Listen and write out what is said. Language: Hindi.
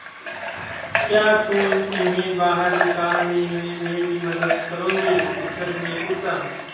क्या तुम इन्हें बाहर निकालने में मेरी मदद करोगे शिक्षक ने पूछा